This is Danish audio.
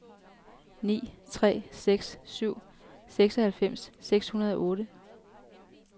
ni tre seks syv seksoghalvfems seks hundrede og otte